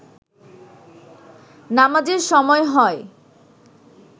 নামাজের সময় হয়